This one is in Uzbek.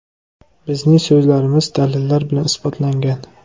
Bizning so‘zlarimiz dalillar bilan isbotlangan.